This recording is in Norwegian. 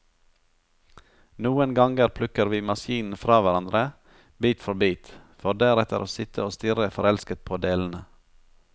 Noen ganger plukker vi maskinen fra hverandre, bit for bit, for deretter å sitte og stirre forelsket på delene.